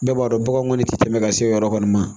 Bɛɛ b'a dɔn baganw kɔni ti tɛmɛ ka se o yɔrɔ kɔni ma